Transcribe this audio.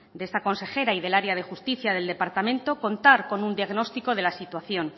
de esta consejera y del área de justicia del departamento contar con un diagnóstico de la situación